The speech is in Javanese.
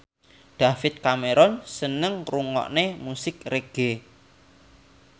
David Cameron seneng ngrungokne musik reggae